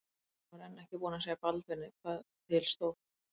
Christian var enn ekki búinn að segja Baldvini hvað til stóð.